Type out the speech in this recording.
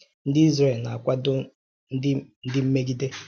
Ndị Izrel na-akwado ndị mmegide!